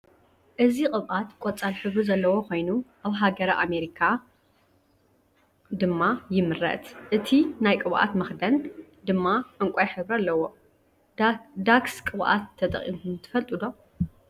እዚ ቅብኣት ቆፃል ሕብሪ ዘለዎ ኮይኑ ኣብ ሃገረ ኣማሪካ ድማ ይምረት ።እቲ ናይ ቅብኣት መክደን ድማ ዕንቋይ ሕብሪ አለዎ። ዳክስ ቅብኣት ተጠቅምኩም ትፈልጡ ዶ?